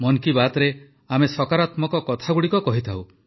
ମନ୍ କି ବାତ୍ରେ ଆମେ ସକାରାତ୍ମକ କଥାଗୁଡ଼ିକ କହିଥାଉ